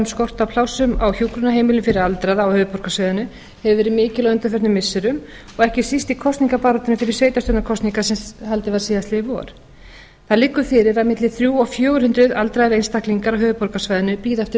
skort á plássum á hjúkrunarheimilum fyrir aldraða á höfuðborgarsvæðinu hefur verið mikil á undanförnum missirum og ekki síst í kosningabaráttunni fyrir sveitarstjórnarkosningar sem haldin var síðastliðið vor það liggur fyrir að milli þrjú hundruð og fjögur hundruð aldraðir einstaklingar á höfuðborgarsvæðinu bíða eftir